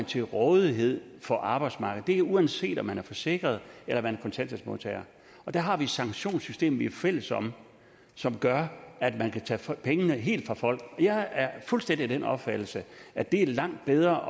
til rådighed for arbejdsmarkedet det er uanset om man er forsikret eller man kontanthjælpsmodtager og der har vi et sanktionssystem vi er fælles om som gør at man kan tage pengene helt fra folk jeg er fuldstændig af den opfattelse at det er langt bedre